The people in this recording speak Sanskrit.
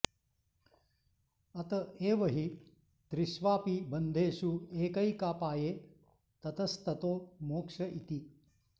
अत एव हि त्रिष्वपि बन्धेषु एकैकापाये ततस्ततो मोक्ष इति